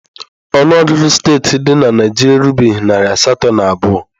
Ọnụọgụ steeti dị na Naịjirịa erubeghị narị asatọ na abụọ